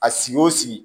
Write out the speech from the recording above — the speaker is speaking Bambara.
A sigi o sigi